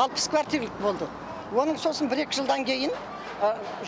алпыс квартирлік болды оның сосын бір екі жылдан кейін